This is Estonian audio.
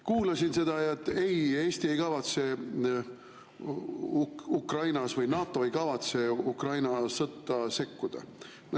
Kuulasin seda, et ei, Eesti või NATO ei kavatse Ukraina sõtta sekkuda.